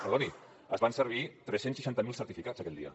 perdoni es van servir tres cents i seixanta miler certificats aquell dia